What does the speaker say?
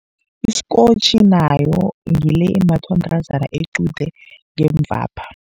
Isikotjhi nayo ngile embathwa mntazana equde ngemuvapha.